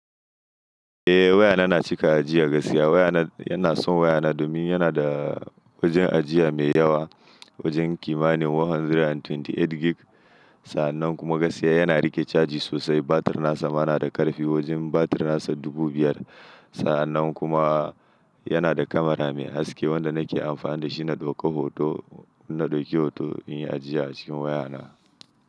Eh wayana na cika ajiya gaskiya. Wayana, ina son wayana domin yana da wajen ajiya mai yawa, wajen kimanin 128gb. Sa'annan kuma gaskiya yana riƙe caji sosai. Batir nasa ma nada ƙarfi, wajen batir nasa dubu biyar. Sa'annan kuma yana da kamara mai haske wanda nake amfani dashi na ɗauka hoto, inna ɗauki hoto inyi ajiya acikin wayana.